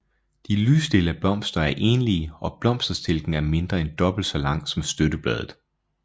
De lyslilla blomster er enlige og blomsterstilken er mindre end dobbelt så lang som støttebladet